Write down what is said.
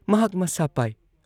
ꯃꯍꯥꯛ ꯃꯁꯥ ꯄꯥꯏ ꯫